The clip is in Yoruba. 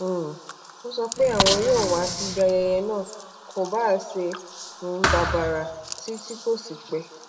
um ó sọ pé àwọn yóò wá bí ayẹyẹ náà kò bá se um babara ti ti ko si pẹ́